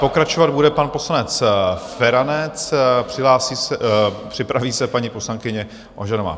Pokračovat bude pan poslanec Feranec, připraví se paní poslankyně Ožanová.